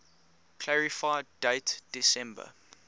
clarify date december